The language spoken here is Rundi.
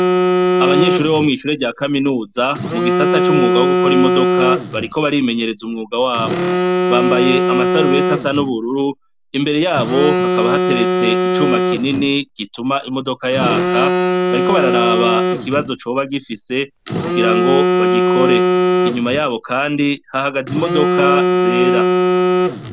Abanyeshuri bo mw'icure rya kaminuza mu gisatsa c'umwuga wo gukora imodoka bariko barimenyereza umwuga wabo bambaye amasarubeti asan'ubururu imbere yabo hakaba hateretse icuma kinini gituma imodoka yaka bariko bararaba ikibazo coba gifise kugira ngo bagikore inyuma yabo, kandi hahagaze imodoka zera.